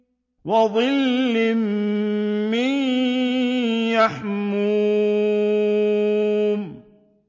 وَظِلٍّ مِّن يَحْمُومٍ